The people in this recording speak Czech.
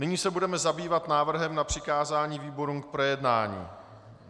Nyní se budeme zabývat návrhem na přikázání výborům k projednání.